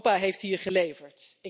Europa heeft hier geleverd.